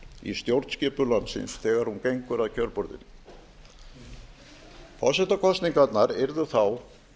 í stjórnskipun landsins þegar hún gengur að kjörborðinu forsetakosningarnar yrðu þá